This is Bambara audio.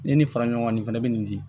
Ni nin fara ɲɔgɔn kan nin fɛnɛ bɛ nin di